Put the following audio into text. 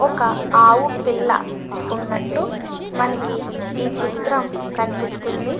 ఒక ఆవు పిల్ల ఉన్నట్టు మనకి ఈ చిత్రం కనిపిస్తుంది.